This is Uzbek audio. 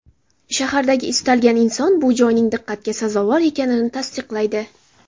Shahardagi istalgan inson bu joyning diqqatga sazovor ekanini tasdiqlaydi.